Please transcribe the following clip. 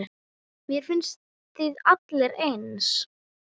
Mér finnst þið allir eins.